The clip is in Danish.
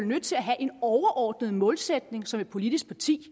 nødt til have en overordnet målsætning som et politisk parti